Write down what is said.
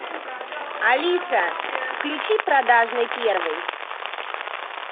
алиса включи продажный первый